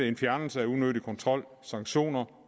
en fjernelse af unødig kontrol sanktioner